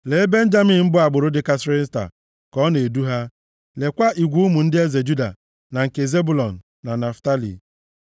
Lee Benjamin bụ agbụrụ dịkarịsịrị nta, ka ọ na-edu ha, lekwaa igwe ụmụ ndị eze Juda na nke Zebụlọn na Naftalị.